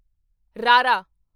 ਰਾਰਾ